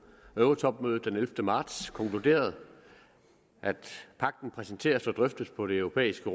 eurotopmødet den ellevte marts konkluderet at pagten præsenteres og drøftes på det europæiske